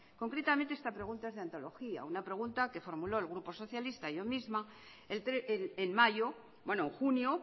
concretamente esta pregunta es de antología una pregunta que formuló el grupo socialista yo misma en mayo bueno en junio